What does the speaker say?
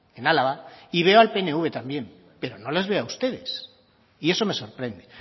en álava y veo al pnv también pero no les veo a ustedes y eso me sorprende